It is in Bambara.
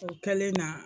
O kɛlen na